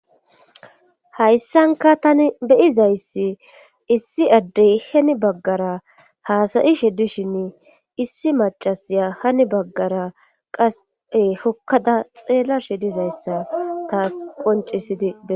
hayssanka tani beyizayssi issi addey heni baggara haasayishe dishinn issi macasya hani baggara qase hokkada xeella shi dizayssa taas poncisidii